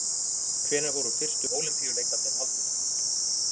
Hvenær voru fyrstu Ólympíuleikarnir haldnir?